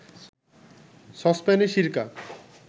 সসপ্যানে সিরকা